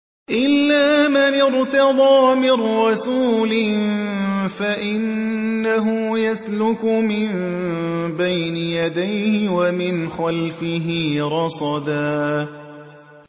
إِلَّا مَنِ ارْتَضَىٰ مِن رَّسُولٍ فَإِنَّهُ يَسْلُكُ مِن بَيْنِ يَدَيْهِ وَمِنْ خَلْفِهِ رَصَدًا